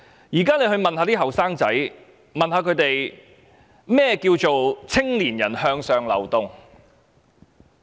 現時問問青年人，甚麼叫"青年人向上流動"？